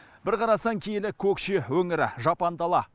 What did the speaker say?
бір қарасаң киелі көкше өңірі жапан дала